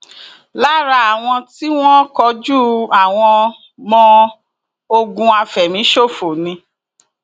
lára àwọn t ìwọn kojú àwọnm óò ogun àfẹmíṣòfò ni